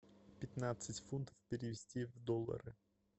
пятнадцать фунтов перевести в доллары